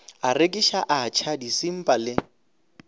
a rekiša atšha disimba le